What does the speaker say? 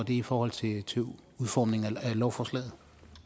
i forhold til udformningen af lovforslaget